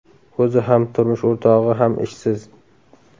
O‘zi ham, turmush o‘rtog‘i ham ishsiz.